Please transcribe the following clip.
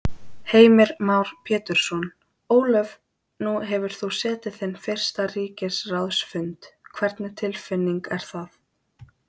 Heimir Már Pétursson: Ólöf nú hefur þú setið þinn fyrsta ríkisráðsfund, hvernig tilfinning er það?